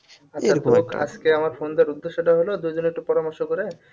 আজকে আমার phone দেওয়ার উদ্দেশ্যটা হল দুজনে একটু পরামর্শ করে